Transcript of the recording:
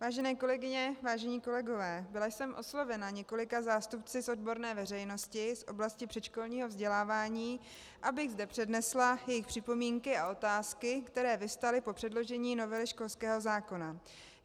Vážené kolegyně, vážení kolegové, byla jsem oslovena několika zástupci z odborné veřejnosti z oblasti předškolního vzdělávání, abych zde přednesla jejich připomínky a otázky, které vyvstaly po předložení novely školského zákona.